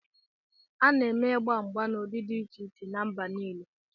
A na-eme igba mgba n'ụdị dị iche iche na mba nile